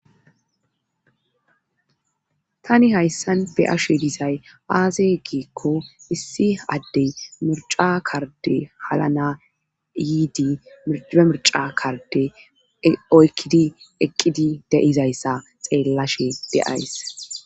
Tani hayssan ba'eshe dizay aaze giikko issi addey mirca karde halana yiidi mcie mirca karde oykkidi eqqidi deizayssa xeellashe deays.